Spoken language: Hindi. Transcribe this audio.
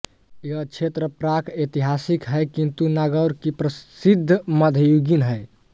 यह क्षेत्र प्राकऐतिहासिक है किंतु नागौर की प्रसिद्धि मध्ययुगीन है